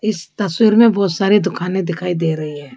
इस तस्वीर में बहोत सारी दुकाने दिखाई दे रही है।